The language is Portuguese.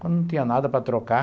Quando não tinha nada para trocar,